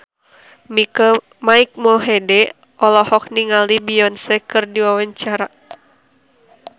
Mike Mohede olohok ningali Beyonce keur diwawancara